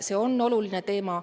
See on oluline teema.